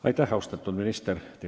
Aitäh, austatud minister!